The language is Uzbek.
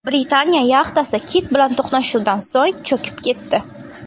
Britaniya yaxtasi kit bilan to‘qnashuvdan so‘ng cho‘kib ketdi.